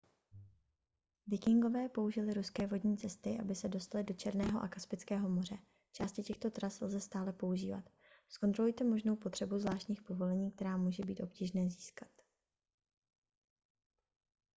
vikingové použili ruské vodní cesty aby se dostali do černého a kaspického moře části těchto tras lze stále používat zkontrolujte možnou potřebu zvláštních povolení která může být obtížné získat